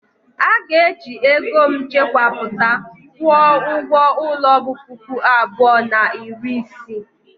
A ga-eji ego m chekwapụta kwụọ ụgwọ ulo bu puku abụọ na iri isii.